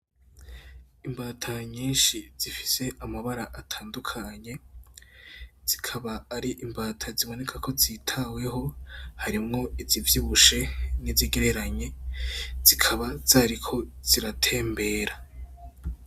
Imbata nyinshi zifise amabara atandukanye zikaba ari imbata ziboneka ko zitayeho harimwo izivyibushe nizigereranye zikaba zariko ziratembera.